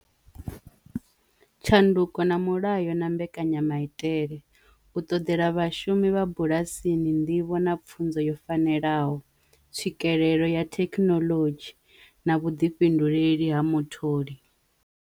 Tshanduko na mulayo na mbekanyamaitele, u ṱoḓela vhashumi vha bulasini nḓivho na pfunzo yo fanelaho tswikelelo ya thekinolodzhi na vhuḓifhinduleli ha mutholi wawe.